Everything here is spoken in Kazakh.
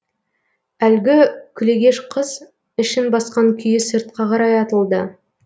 әлгі күлегеш қыз ішін басқан күйі сыртқа қарай атылды